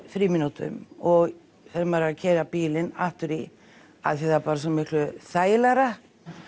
frímínútum og þegar maður er að keyra bílinn aftur í af því það er bara svo miklu þægilegra